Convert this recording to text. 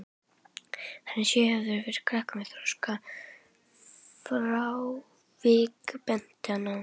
Hann er sérhæfður fyrir krakka með þroskafrávik, benti hann á.